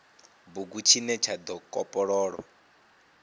bugu tshine tsha do kopololwa